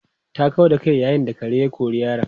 Ta kau da kai yayin da kare ya kori yaron.